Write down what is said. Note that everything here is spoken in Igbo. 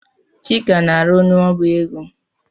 Chika na-arụ n'ọbá égo.